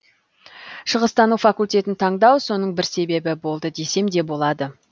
шығыстану факультетін таңдау соның бір себебі болды десем де болады